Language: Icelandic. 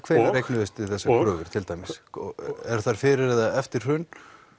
hvenær eignuðust þið þessar kröfur til dæmis eru þær fyrir eða eftir hrun